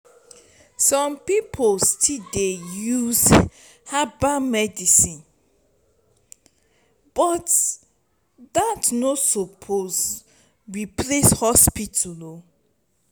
some pipo still dey use herbal medicinebut dat no suppose replace hospital o.